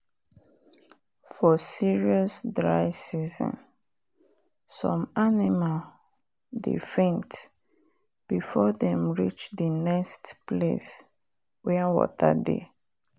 for serious dry season some animal dey faint before them reach the next place wen water dey